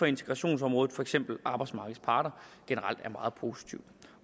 integrationsområdet for eksempel arbejdsmarkedets parter generelt er meget positivt